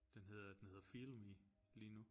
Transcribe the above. Den hedder den hedder Feel Me lige nu